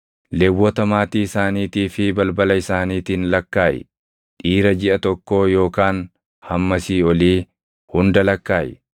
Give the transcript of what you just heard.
“Lewwota maatii isaaniitii fi balbala isaaniitiin lakkaaʼi. Dhiira jiʼa tokkoo yookaan hammasii olii hunda lakkaaʼi.”